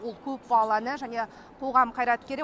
ол көпбалалы ана және қоғам қайраткері